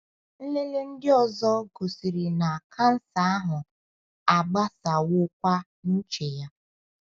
Nlele ndị ọzọ gosiri na kansa ahụ agbasawokwa n’uche ya.